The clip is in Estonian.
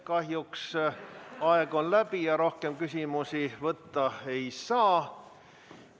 Kahjuks on aeg läbi ja rohkem küsimusi esitada ei saa.